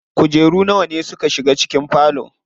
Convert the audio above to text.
Kujeru nawa ne suka shiga cikin falon?